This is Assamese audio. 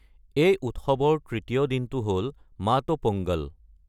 এই উৎসৱৰ তৃতীয় দিনটো হ’ল মট্টু পোঙ্গল।